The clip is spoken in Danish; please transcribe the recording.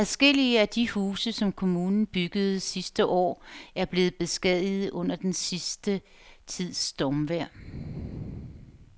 Adskillige af de huse, som kommunen byggede sidste år, er blevet beskadiget under den sidste tids stormvejr.